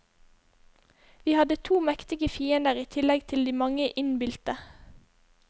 Vi hadde to mektige fiender i tillegg til de mange innbilte.